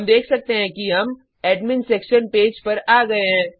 हम देख सकते हैं कि हम एडमिन सेक्शन पेज पर आ गए हैं